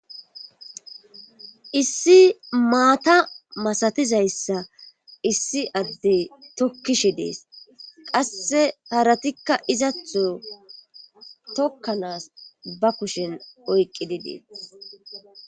Issi maata masatiza issa issi adde tokkishe dees. Qasse haratikka izatho tokkanaas ba kushen oyqqi dees.